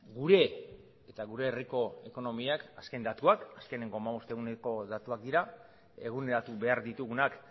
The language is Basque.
gure eta gure herriko ekonomiak azken datuak azkeneko hamabost eguneko datuak dira eguneratu behar ditugunak